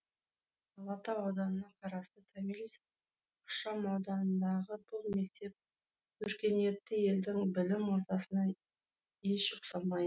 алатау ауданына қарасты томирис ықшам ауданындағы бұл мектеп өркениетті елдің білім ордасына еш ұқсамай